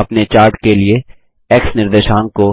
अपने चार्ट के लिए एक्स निर्देशांक को